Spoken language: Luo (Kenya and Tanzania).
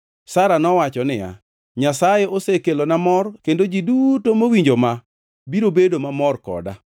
Sara nowacho niya, “Nyasaye osekelona mor kendo ji duto mowinjo ma biro bedo mamor koda.”